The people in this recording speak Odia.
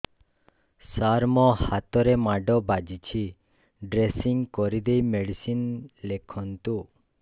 ସାର ମୋ ହାତରେ ମାଡ଼ ବାଜିଛି ଡ୍ରେସିଂ କରିଦେଇ ମେଡିସିନ ଲେଖନ୍ତୁ